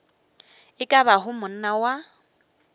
e ka bago monna wa